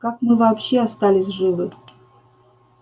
как мы вообще остались живы